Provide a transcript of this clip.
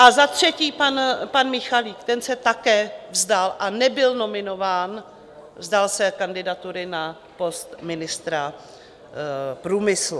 A za třetí, pan Michalík, ten se také vzdal - a nebyl nominován - vzdal se kandidatury na post ministra průmyslu.